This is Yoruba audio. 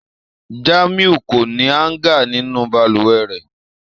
Jamiu ko ni hanger ninu balùwẹ̀ rẹ.